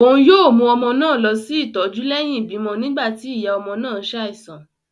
Òún yóò mú ọmọ náà lọ sí ìtọjú lẹhin ibimọ nígbà ti iya ọmọ náà ṣaisan